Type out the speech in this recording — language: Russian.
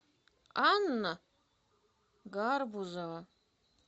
анна гарбузова